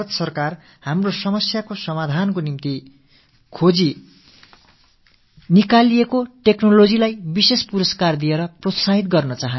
பாரத அரசு நமது பிரச்சனைகளுக்கு தீர்வளிக்கும் வகையில் கண்டறியப்பட்ட தொழில்நுட்பத்துக்கு சிறப்பு விருது அளித்து ஊக்கமளிக்க விரும்புகிறது